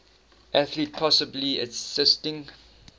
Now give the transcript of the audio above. athlete possibly assisting